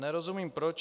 Nerozumím proč.